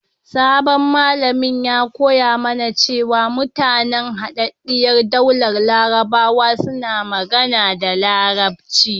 Sabon malamin ya koya mana cewa mutanen Hadaddiyar Daular Larabawa suna magana da Larabci.